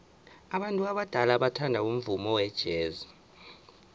abantu abadala bathanda umvumo wejazz